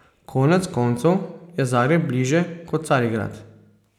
Konec koncev je Zagreb bližje kot Carigrad.